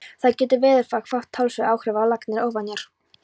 Þar getur veðurfar haft talsverð áhrif ef lagnir eru ofanjarðar.